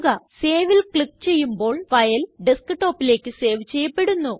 Saveല് click ചെയ്യുമ്പോൾ ഫയല് Desktopലേയ്ക്ക് സേവ് ചെയ്യപ്പെടുന്നു